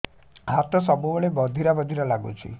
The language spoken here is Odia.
ହାତ ସବୁବେଳେ ବଧିରା ବଧିରା ଲାଗୁଚି